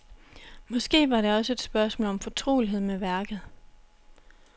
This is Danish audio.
Måske var det også et spørgsmål om fortrolighed med værket.